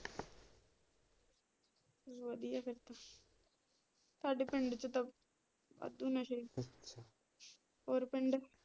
ਵਧੀਆ ਫਿਰ ਤੇ ਸਾਡੇ ਪਿੰਡ ਚ ਤਾਂ ਵਾਧੂ ਨਸ਼ੇ ਹੋਰ ਪਿੰਡ?